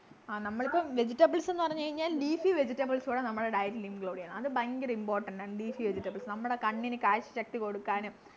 ആഹ് നമ്മളിപ്പോ vegetables ന്നു പറഞ്ഞു കഴിഞ്ഞാൽ leafy vegitables കൂടാ നമ്മുടെ diet ൽ include ചെയ്യണം അത് ഭയങ്കര important ആണ് leafy vegetables നമ്മുടെ കണ്ണിനു കാഴ്ചശക്തി കൊടുക്കാനും